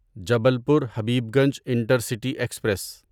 Jabalpur Habibganj intercity express